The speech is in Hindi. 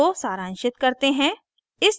इसको सारांशित करते हैं